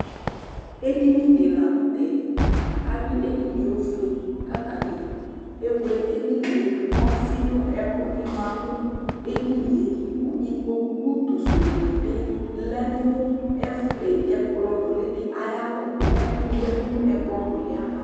Edinyɩ dɩ la nʊ tɛ, awʊi edinyɩe ofoeKʊ atanɩ ewle edinyɩe dʊ Kʊ ɔfɩ nʊ ɛkʊnɩ mã nʊ edinyɩe Kʊ ikpokpʊ ʊtʊ sʊ dɩnɩ bɩ lɛ nʊ ɛkplɔ nʊli dɩ ayɩ alɔ kʊ ɛkʊ nɩ yadʊ nʊ ɛkplɔ nʊlɩɛ ayava